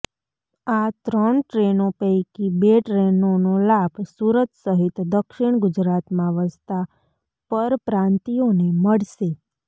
આ ત્રણ ટ્રેનો પૈકી બે ટ્રેનોનો લાભ સુરત સહિત દક્ષિણ ગુજરાતમાં વસતાં પરપ્રાંતિયોને મળશે